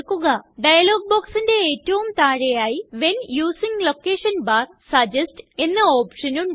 dialogue ബോക്സിന്റെ ഏറ്റവും താഴെയായി when using location bar suggest എന്ന ഓപ്ഷൻ ഉണ്ട്